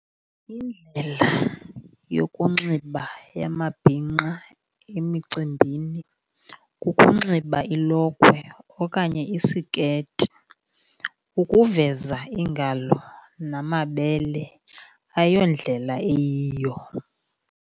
Indlela yokunxiba yamabhinqa emicimbini kukunxiba ilokhwe okanye isiketi, ukuveza iingalo namabele ayondlela eyiyo.